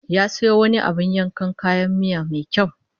Ya sayo wani abin yankan kayan miya mai kyau